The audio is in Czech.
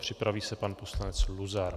Připraví se pan poslanec Luzar.